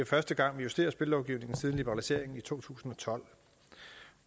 første gang vi justerer spillelovgivningen siden liberaliseringen i to tusind og tolv